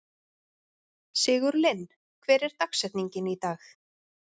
Sigurlinn, hver er dagsetningin í dag?